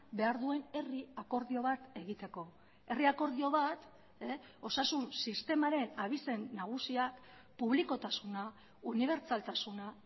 behar duen herri akordio bat egiteko herri akordio bat osasun sistemaren abizen nagusiak publikotasuna unibertsaltasuna